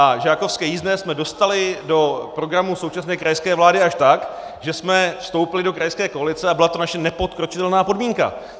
A žákovské jízdné jsme dostali do programu současné krajské vlády až tak, že jsme vstoupili do krajské koalice a byla to naše nepodkročitelná podmínka.